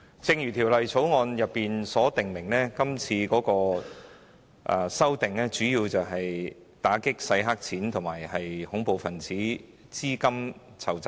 正如《條例草案》所訂，今次修例主要旨在打擊洗黑錢和恐怖分子資金籌集。